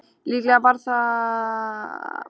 Líklega var það frá því seint á nítjándu öld.